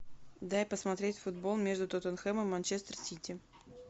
дай посмотреть футбол между тоттенхэмом и манчестер сити